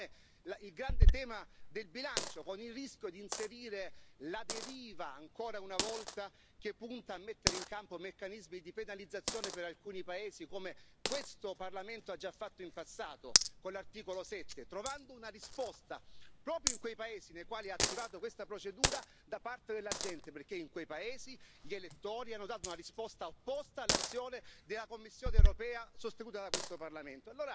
Così come il grande tema del bilancio, con il rischio di inserire la deriva, ancora una volta, che punta a mettere in campo meccanismi di penalizzazione per alcuni paesi, come questo Parlamento ha già fatto in passato con l'articolo 7, trovando una risposta, proprio in quei paesi nei quali ha attivato questa procedura, da parte della gente, perché in quei paesi gli elettori hanno dato una risposta opposta all'azione della Commissione europea sostenuta da questo Parlamento.